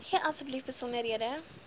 gee asseblief besonderhede